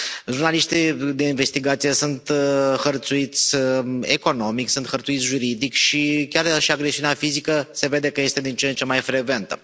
Jurnaliștii de investigație sunt hărțuiți economic, sunt hărțuiți juridic și chiar și agresiunea fizică se vede că este din ce în cea mai frecventă.